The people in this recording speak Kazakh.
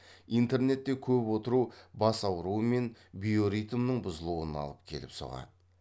интернетте көп отыру бас ауруы мен биоритмнің бұзылуына алып келіп соғады